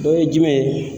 Dɔ ye jumɛn ye